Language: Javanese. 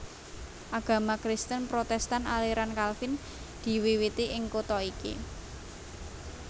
Agama Kristen Protèstan aliran Kalvin diwiwiti ing kutha iki